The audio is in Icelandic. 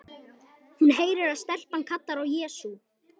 Hún heyrir að stelpan kallar á Jesú.